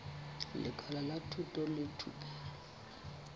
lekala la thuto le thupelo